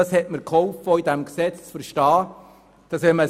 Das hat mir geholfen, bei diesem Gesetz Folgendes zu verstehen: